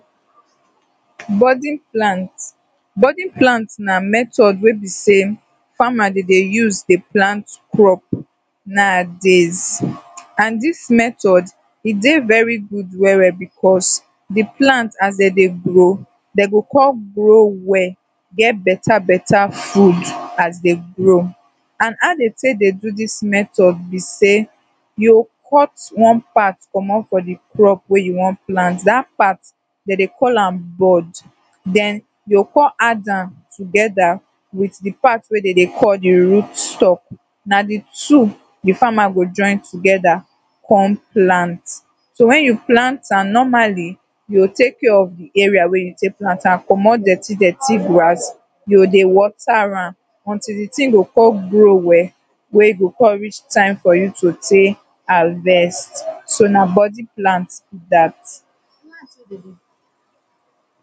so na wettin dis farmas de do after de don already plant dia potato, now na de time, now dis one na time wer dey de harvest am and as una go see sey dis one na harvest time be dis, so dey de try comot dia potato wer dem don already plant am for ground, de harvest dia potato so that de go fit carry am go market to o go keep a, for house were de go use am chop. and den as una go see sey dis one na white potato dem farm na pure white potato, dem no do de other one wer get red colour, so na white potato dis one farm because maybe sey na de one wey dem like na de one wey de like de wan chop white potato because no be everybody like de oda colour de oda potato, some pipu no de even chop that one and now dis one as e be like dis like dis after dem don do dis process now, de next thing wer dem go do be say, dem go just find one cold place de go keep am dere, if dem no fit carry am go house de go keep am for dat cold place so dat de sun no go come heat de potato come spoil am because if dem leave am open, sun go come beat am and e go dry de potato go come dry, e go lose de water wey de inside e go reduce for size so de go pack am for one cold place so dat dey go come carry am for inside dia basket or anything wer dey go carry am go house